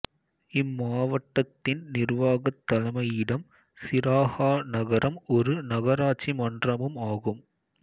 இம்மாவட்டத்தின் நிர்வாகத் தலைமையிடம் சிராஹா நகரம் ஒரு நகராட்சி மன்றமும் ஆகும்